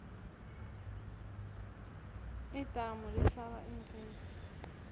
idamu lihlala iimfesi